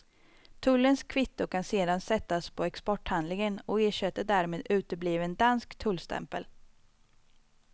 Tullens kvitto kan sedan sättas på exporthandlingen och ersätter därmed utebliven dansk tullstämpel.